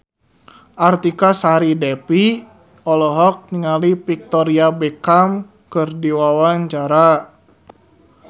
Artika Sari Devi olohok ningali Victoria Beckham keur diwawancara